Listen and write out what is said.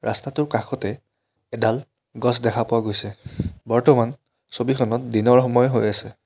ৰাস্তাটোৰ কাষতে এডাল গছ দেখা পোৱা গৈছে বৰ্তমান ছবিখনত দিনৰ সময় হৈ আছে।